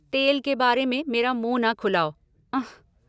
तेल के बारे में मेरा मुँह न खुलाओ, उँह।